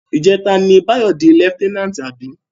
Ijètá ni Bayo di lèftènánti abi?